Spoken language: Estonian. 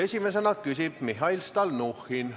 Esimesena küsib Mihhail Stalnuhhin.